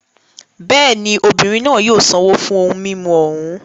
Bẹ́ẹ̀ ni, obìnrin náà yóò san owó fún ohun mímu òún.